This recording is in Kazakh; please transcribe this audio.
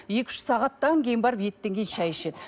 екі үш сағаттан кейін барып еттен кейін шай ішеді